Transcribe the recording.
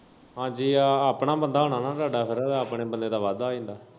ਹਾਂਜੀ ਆਪਣਾ ਬੰਦਾ ਹੁਨਾ ਨਾ ਤਾਡਾ ਫੇਰ ਆਪਣੇ ਬੰਦੇ ਦਾ ਵਾਧਾ ਹੋ ਜਾਂਦਾ।